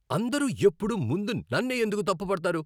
అందరూ ఎప్పుడూ ముందు నన్నే ఎందుకు తప్పు పడతారు?